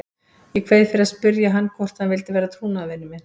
Ég kveið fyrir að spyrja hann hvort hann vildi vera trúnaðarmaðurinn minn.